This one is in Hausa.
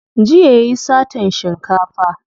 Jiya yayi satan shinkafa.